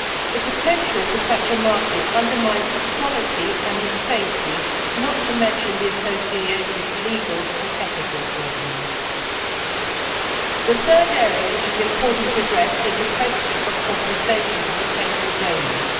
The potential for such a market undermines the quality and safety of such donations, not to mention the associated legal and ethical problems. The third area which is important to address is the question of compensation for potential donors.